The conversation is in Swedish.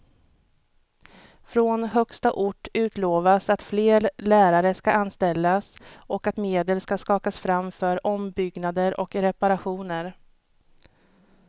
Från högsta ort utlovas att fler lärare ska anställas och att medel ska skakas fram för ombyggnader och reparationer.